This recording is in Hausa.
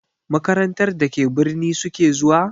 Makarantar da ke birni su ke zuwa?